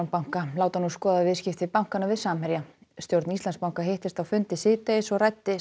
banka láta nú skoða viðskipti bankanna við Samherja stjórn Íslandsbanka hittist á fundi síðdegis og ræddi